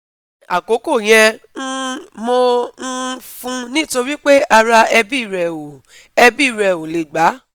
Ni akoko yen, um mo um fun ni tori pe ara ebi re o ebi re o le gba